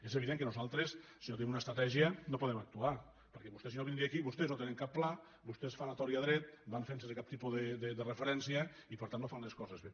és evident que nosaltres si no tenim una estratègia no podem actuar perquè vostè si no vindria aquí vostès no tenen cap pla vostès fan a tort i a dret van fent sense cap tipus de referència i per tant no fan les coses bé